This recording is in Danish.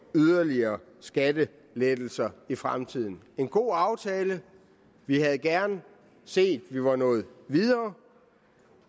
yderligere skattelettelser i fremtiden det en god aftale vi havde gerne set at vi var nået videre